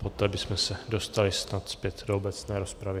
Poté bychom se dostali snad zpět do obecné rozpravy.